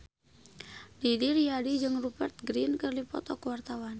Didi Riyadi jeung Rupert Grin keur dipoto ku wartawan